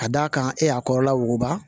Ka d'a kan e y'a kɔrɔla wuguba